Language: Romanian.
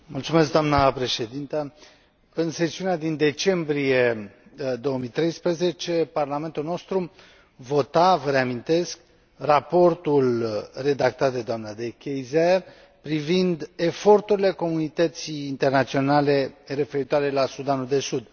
Doamnă președintă, în sesiunea din decembrie 2013, Parlamentul nostru vota, vă reamintesc, raportul redactat de doamna De Keyser privind eforturile comunității internaționale referitoare la Sudanul de Sud.